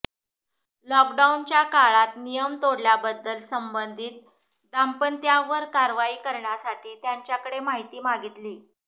लॉकडाऊनच्या काळात नियम तोडल्याबद्दल संबंधित दाम्पत्यावर कारवाई कऱण्यासाठी त्यांच्याकडं माहिती मागितली